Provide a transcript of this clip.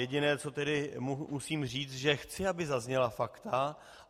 Jediné, co tedy musím říct, že chci, aby zazněla fakta.